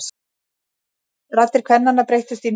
Raddir kvennanna breyttust í nið.